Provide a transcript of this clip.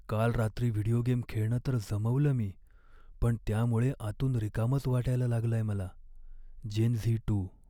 काल रात्री video game खेळणं तर जमवलं मी, पण त्यामुळे आतून रिकामंच वाटायला लागलंय मला. Gen Z to